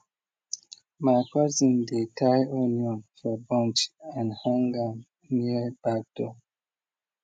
my cousin dey tie onion for bunch and hang am near back door